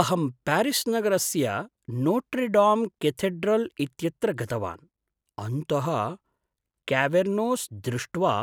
अहं प्यारिस् नगरस्य Notre Dame cathedral इत्यत्र गतवान्, अन्तः क्यावेर्नोस् दृष्ट्वा